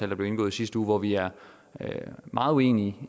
der blev indgået i sidste uge vi er meget uenige